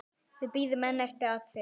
Við bíðum enn eftir afriti.